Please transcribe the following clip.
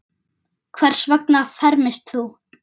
Hvers vegna fermist þú?